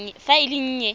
fa e le e nnye